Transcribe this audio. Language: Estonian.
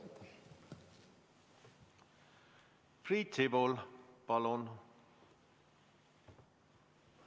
Priit Sibul, palun!